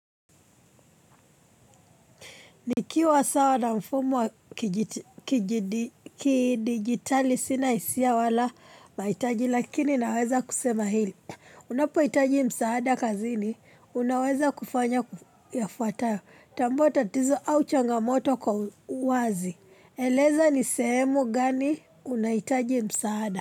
Nikiwa sawa na mfumo wa kidijitali sina hisia wala mahitaji lakini naweza kusema hili. Unapohitaji msaada kazini, unaweza kufanya yafuatayo. Tambua tatizo au changamoto kwa uwazi. Eleza ni sehemu gani unahitaji msaada.